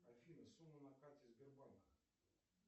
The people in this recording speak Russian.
афина сумма на карте сбербанка